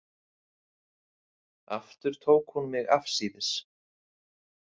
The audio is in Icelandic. Aftur tók hún mig afsíðis.